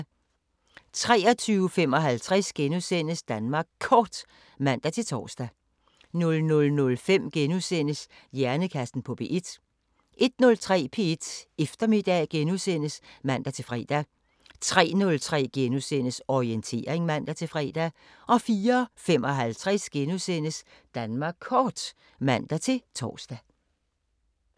23:55: Danmark Kort *(man-tor) 00:05: Hjernekassen på P1 * 01:03: P1 Eftermiddag *(man-fre) 03:03: Orientering *(man-fre) 04:55: Danmark Kort *(man-tor)